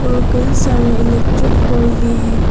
और कई सारे इलेक्ट्रिक पोल भी हैं।